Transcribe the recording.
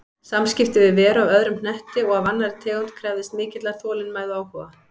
Samskipti við veru af öðrum hnetti og af annarri tegund krefðist mikillar þolinmæði og áhuga.